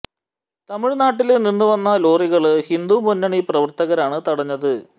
തമിഴ്നാട്ടില് നിന്നു വന്ന ലോറികള് ഹിന്ദു മുന്നണി പ്രവര്ത്തകരാണ് തടഞ്ഞത്